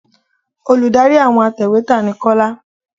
Olùdarí àwọn atẹ̀wẹ́tà ni Kọ́lá